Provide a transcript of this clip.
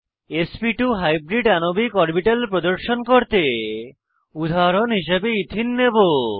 sp2 hybrid আণবিক orbital প্রদর্শন করতে উদাহরণ হিসাবে ইথিন নেবো